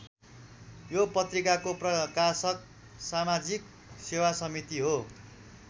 यो पत्रिकाको प्रकाशक समाजिक सेवा समिति हो।